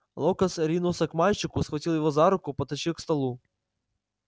локонс ринулся к мальчику схватил его за руку потащил к столу